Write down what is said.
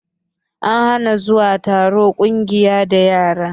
An hana zuwa taron ƙungiya da yara